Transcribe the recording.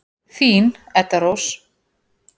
Þín, Edda Rós.